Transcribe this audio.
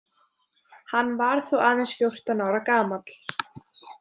Hann var þá aðeins fjórtán ára gamall.